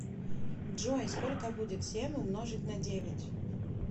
джой сколько будет семь умножить на девять